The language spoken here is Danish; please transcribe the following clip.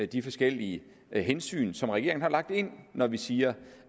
de forskellige hensyn som regeringen har lagt ind når vi siger